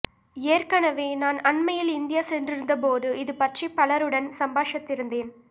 ஏற்கனவே நான் அண்மையில் இந்தியா சென்றிருந்த போது இது பற்றி பலருடன் சம்பாஷத்திருந்தேன்